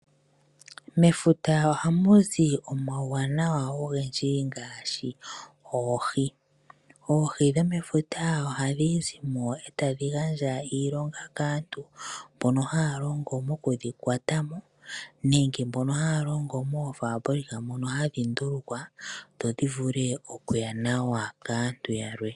Mefuta ohamu zi omauwanawa ogendji ngaashi oohi. Oohi dhomefuta ohadhi zimo etadhi gandja iilonga kaantu mbono haa longo okudhi kwatamo, nenge mbono haa longo moofabulika mono hadhi ndulukwa dho dhi vule okuya kaantu yalwe.